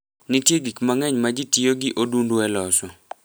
Nitie gik mang'eny ma ji tiyo gi odundu e loso.